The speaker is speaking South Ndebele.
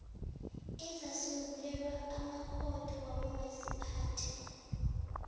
ezasungulelwa amakhotho wabomaziphathe